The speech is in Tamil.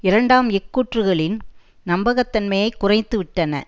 இரண்டாம் இக்கூற்றுக்களின் நம்பகத்தன்மையை குறைத்து விட்டன